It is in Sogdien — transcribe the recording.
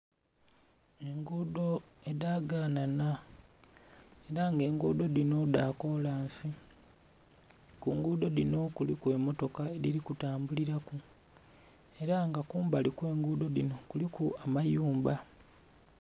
Engudho edhaganhanha era nga engudho dhino dhakolansi kungudho dhino kuliku emotoka edhiri kutambuliraku era nga kumbali okwengudho dhino kuliku amayumba.